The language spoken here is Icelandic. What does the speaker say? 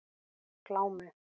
Glámu